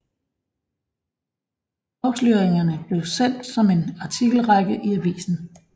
Afsløringerne blev sendt som en artikelrække i avisen